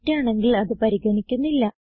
തെറ്റാണെങ്കിൽ അത് പരിഗണിക്കുന്നില്ല